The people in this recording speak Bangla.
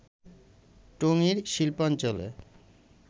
টঙ্গীর শিল্পাঞ্চলে